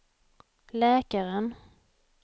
läkaren